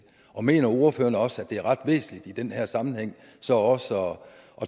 og mener ordfører også at det er ret væsentligt i den her sammenhæng så også at